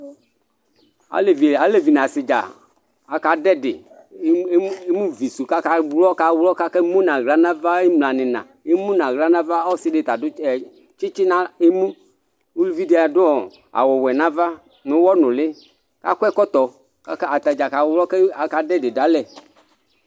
Alevɩ nasɩ dza aka dʊ ɛdɩ emʊ vɩsʊ kaka wlɔ, kakemʊ nawla nava imla nɩyɩna Ɔsɩ dɩ tadʊ tsɩtsɩ nemʊ, ʊlʊvɩ dɩ adʊ awʊ wɛ nava nʊyɔ nʊlɩ, akɔ ɛkɔtɔ katadza kawlɔ kaka dʊ ɛdɩ dʊalɛ